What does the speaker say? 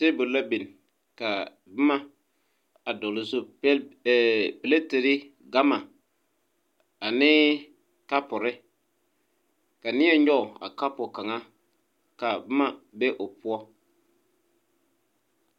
Tabole la binn kaa bomma a dɔgle o zu ee pleterre gamma anee kapure ka nie nyoge a kapu kaŋa ka bomma be o poɔ.